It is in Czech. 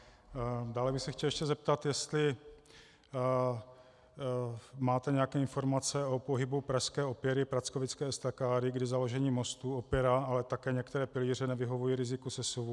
Dále bych se chtěl ještě zeptat, jestli máte nějaké informace o pohybu pražské opěry prackovické estakády, kdy založení mostu, opěra, ale také některé pilíře nevyhovují riziku sesuvu.